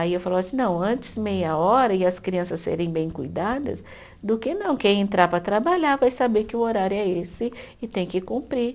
Aí eu falo assim, não, antes meia hora e as crianças serem bem cuidadas, do que não, quem entrar para trabalhar vai saber que o horário é esse e tem que cumprir.